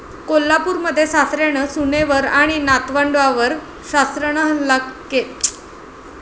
कोल्हापूरमध्ये सासऱ्यानं सुनेवर आणि नातवंडांवर शस्त्रानं केला हल्ला